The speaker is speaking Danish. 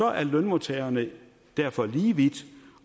er lønmodtagerne derfor lige vidt